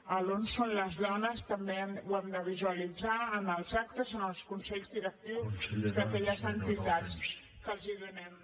l’ on són les dones també ho hem de visualitzar en els actes en els consells directius des d’aquelles entitats que els donem